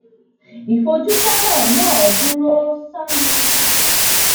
ìfojúsónà náà dúró sánún